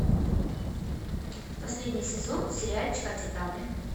последний сезон сериальчика титаны